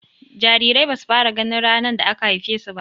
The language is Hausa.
Jarirai basu fara gani ranar da aka haife su.